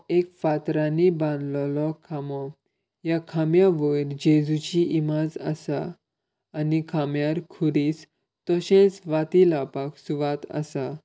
एक फातरानी बांधलोलो खामो ह्या खांम्या वयर जेजुची इमाज आसा आनी खांम्यार खुरीस तशेच वाती लावपाक सूवात आसा.